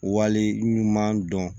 Wale minnu m'an dɔn